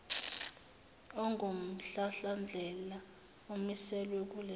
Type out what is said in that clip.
ongumhlahlandlela omiselwe kuleso